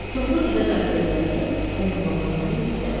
Çoxlu qida qəbul elədikdə həzm orqanları yüklənir.